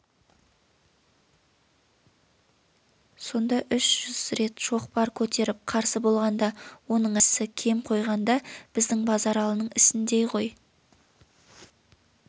сонда үш жүз рет шоқпар көтеріп қарсы болғанда оның әрқайсысы кем қойғанда біздің базаралының ісіндей ғой